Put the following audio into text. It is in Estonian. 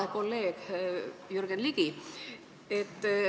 Hea kolleeg Jürgen Ligi!